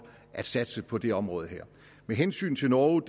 at satse på det område her med hensyn til norge